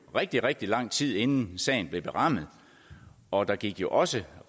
rigtig rigtig lang tid inden sagen blev berammet og der gik også